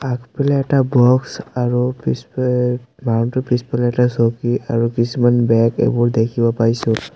আগফালে এটা বক্স আৰু পিছ অ মানুহটোৰ পিছফালে এটা চকী আৰু কিছুমান বেগ এইবোৰ দেখিব পাইছোঁ।